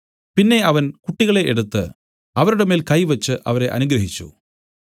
പിന്നെ അവൻ കുട്ടികളെ എടുത്ത് അവരുടെ മേൽ കൈ വെച്ച് അവരെ അനുഗ്രഹിച്ചു